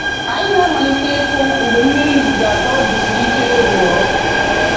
Anyị na-amalite ịkụ mgbe mmiri izizi atọ jisiri ike rụọ.